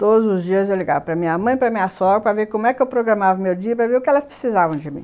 Todos os dias eu ligava para minha mãe, para minha sogra, para ver como é que eu programava o meu dia, para ver o que elas precisavam de mim.